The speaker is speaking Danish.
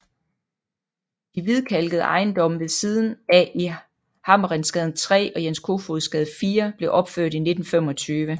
De hvidkalkede ejendomme ved siden af i Hammerensgade 3 og Jens Kofods Gade 4 blev opført i 1925